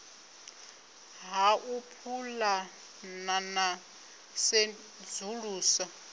ha u pulana na sedzulusa